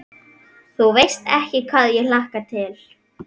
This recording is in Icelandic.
Þú veist ekki hvað ég hlakka til.